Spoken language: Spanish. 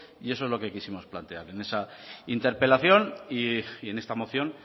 y eso es lo que quisimos plantear en esa interpelación y en esta moción